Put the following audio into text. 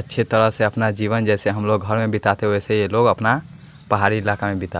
अच्छी तरह से अपना जीवन जैसे हम लोग घर में बिताते वैसे ये लोग अपना पहाड़ी इलाका में बिता--